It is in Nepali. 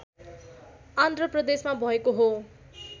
आन्ध्र प्रदेशमा भएको हो